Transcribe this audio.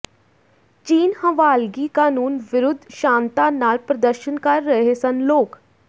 ਚੀਨ ਹਵਾਲਗੀ ਕਾਨੂੰਨ ਵਿਰੁਧ ਸ਼ਾਂਤਾ ਨਾਲ ਪ੍ਰਦਰਸ਼ਨ ਕਰ ਰਹੇ ਸਨ ਲੋਕ